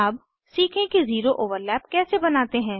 अब सीखें कि ज़ीरो ओवरलैप कैसे बनाते हैं